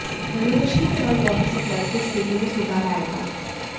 renovation के बाद water supply की स्थिति में सुधार आएगा